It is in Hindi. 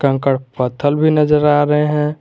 कंकड़ पत्थल भी नजर आ रहे हैं।